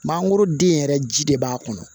Mangoro den yɛrɛ ji de b'a kɔnɔ